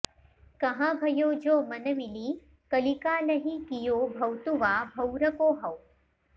कहा भयो जो मन मिलि कलिकालहिं कियो भौंतुवा भौंरको हौं